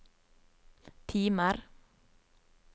timer